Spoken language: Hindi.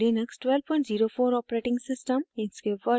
* ubuntu लिनक्स 1204 os